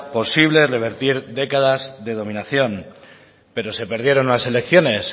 posible revertir décadas de dominación pero se perdieron las elecciones